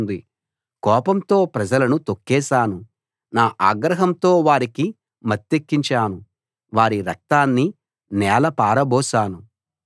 కోపంతో ప్రజలను తొక్కేశాను నా ఆగ్రహంతో వారికి మత్తెక్కించాను వారి రక్తాన్ని నేల పారబోశాను